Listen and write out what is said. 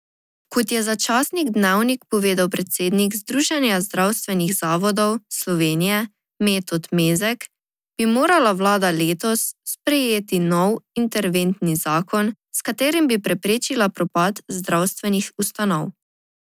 Kot je za časnik Dnevnik povedal predsednik Združenja zdravstvenih zavodov Slovenije Metod Mezek, bi morala vlada letos sprejeti nov interventni zakon, s katerim bi preprečila propad zdravstvenih ustanov.